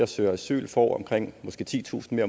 søger asyl får omkring måske titusind